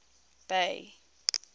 bay